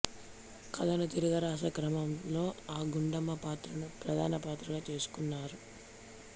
కథను తిరగరాసే క్రమంలో ఆ గుండమ్మ పాత్రను ప్రధానపాత్రగా చేసుకున్నారు